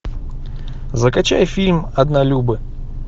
закачай фильм однолюбы